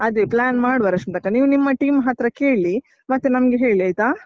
ಅದೇ plan ಮಾಡುವ ರಶ್ಮಿತಕ್ಕ, ನೀವು ನಿಮ್ಮ team ಹತ್ರ ಕೇಳಿ, ಮತ್ತೆ ನಮ್ಗೆ ಹೇಳಿ ಆಯ್ತಾ?